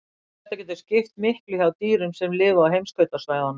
Þetta getur skipt miklu hjá dýrum sem lifa á heimskautasvæðunum.